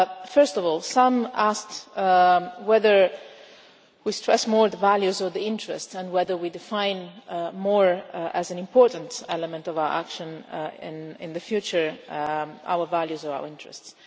First of all, some asked whether we stress more the values or the interests, and whether we define more as an important element of our action in the future our values or our interests.